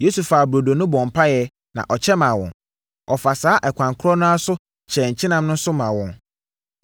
Yesu faa burodo no bɔɔ mpaeɛ na ɔkyɛ maa wɔn. Ɔfaa saa ɛkwan korɔ no ara so kyɛɛ nkyenam no nso maa wɔn.